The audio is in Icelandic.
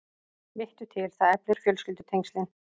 Vittu til, það eflir fjölskyldutengslin.